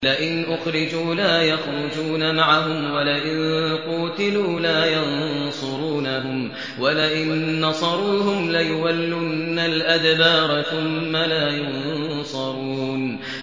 لَئِنْ أُخْرِجُوا لَا يَخْرُجُونَ مَعَهُمْ وَلَئِن قُوتِلُوا لَا يَنصُرُونَهُمْ وَلَئِن نَّصَرُوهُمْ لَيُوَلُّنَّ الْأَدْبَارَ ثُمَّ لَا يُنصَرُونَ